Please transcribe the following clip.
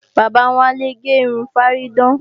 Bàbá Wálé ń ge irun fárídán